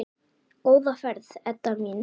Góða ferð, Edda mín.